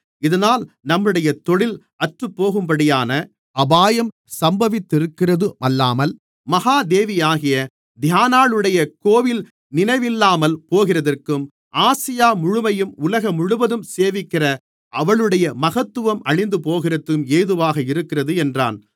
இதனால் நம்முடைய தொழில் அற்றுப்போகும்படியான அபாயம் சம்பவித்திருக்கிறதுமல்லாமல் மகா தேவியாகிய தியானாளுடைய கோவில் நினைவில்லாமல் போகிறதற்கும் ஆசியா முழுமையும் உலகமுழுவதும் சேவிக்கிற அவளுடைய மகத்துவம் அழிந்துபோகிறதற்கும் ஏதுவாக இருக்கிறது என்றான்